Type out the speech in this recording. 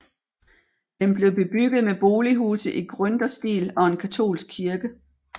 Den blev bebygget med bolighuse i gründerstil og en katolsk kirke